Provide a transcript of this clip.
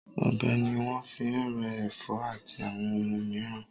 Ọ̀bẹ ni wọ́n fi ń rẹ́ ẹ̀fọ́ àti àwọn ohun mìíràn.